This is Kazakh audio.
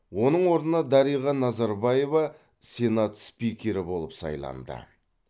оның орнына дариға назарбаева сенат спикері болып сайланды